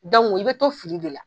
i bɛ to fili de la.